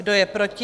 Kdo je proti?